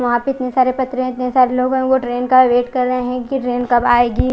यहाँ पर इतने सारे पत्थरे लोग ट्रेन का वेट कर रहे है की ट्रेन कब आयगी--